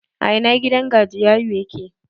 A ina gidan gajiyayu yake?